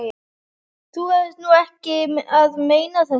Þú ert nú ekki að meina þetta!